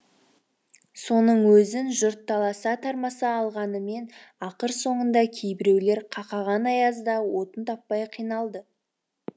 соның өзін жұрт таласа тармаса алғанымен ақыр соңында кейбіреулер қақаған аязда отын таппай қиналды